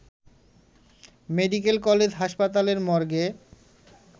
medical college হাসপাতালের মর্গে